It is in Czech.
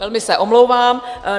Velmi se omlouvám.